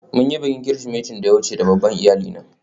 We celebrated last Christmas with our extended family.